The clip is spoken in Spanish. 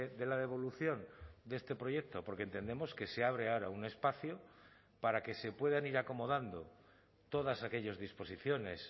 de la devolución de este proyecto porque entendemos que se abre ahora un espacio para que se puedan ir acomodando todas aquellas disposiciones